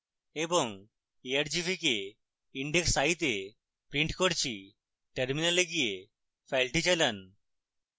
এবং argv কে index i তে printing করছি টার্মিনালে গিয়ে ফাইলটি চালান